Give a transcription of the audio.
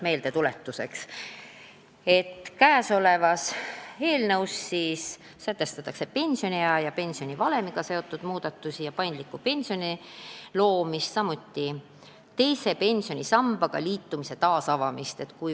Meeldetuletuseks nii palju, et eelnõu eesmärk on sätestada pensioniea ja pensionivalemiga seotud muudatusi ja luua paindlik pension, samuti avada teise pensionisambaga liitumine.